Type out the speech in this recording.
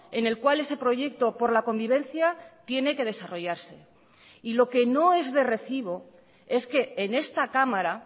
en el cual ese proyecto por la convivencia tiene que desarrollarse y lo que no es de recibo es que en esta cámara